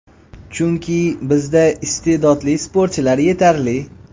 Chunki, bizda iste’dodli sportchilar yetarli.